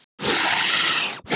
Jóhann: Eitthvað vitað um tjón?